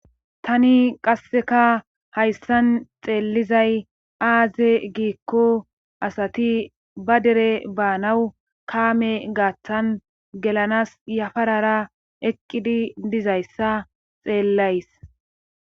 Tani qasseka hayssan xeellizay aaze giikko asati ba dere baanawu kaame gaaththan gelanas yafarara eqqidi dizayssa xeellays.